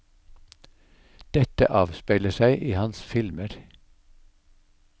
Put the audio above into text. Dette avspeiler seg i hans filmer.